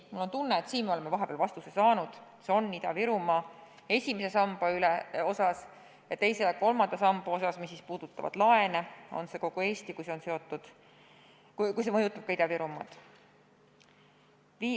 Mul on tunne, et sellele küsimusele me oleme vahepeal juba vastuse saanud: esimese samba osas on see Ida-Virumaa ja teise-kolmanda samba osas, mis puudutavad laene, on see kogu Eesti, juhul kui see mõjutab ka Ida-Virumaad.